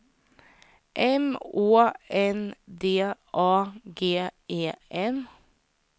M Å N D A G E N